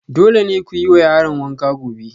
Dole ne ku yi wa yaran wanka gobe